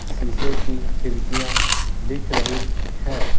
शीशे की खिड़कियां दिख रही है।